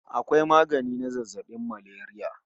Akwai magani na zazzabin malaria